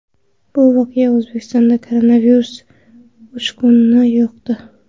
Bu voqea O‘zbekistonda koronavirus uchqunini yoqdi.